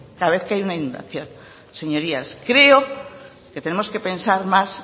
cada vez que hay una inundación señorías creo que tenemos que pensar más